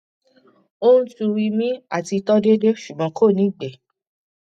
ó ń tu ìmi àti tọ déédéé ṣùgbọn kò ní ìgbẹ